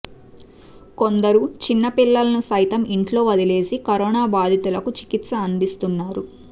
కొందరు చిన్న పిల్లలను సైతం ఇంట్లో వదిలేసి కరోనా బాధితులకు చికిత్స అందిస్తున్నారు